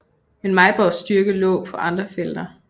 Men Mejborgs styrke lå på andre felter